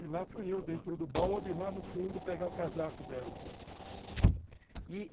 E lá fui eu, dentro do balde, lá no fundo, pegar o casaco dela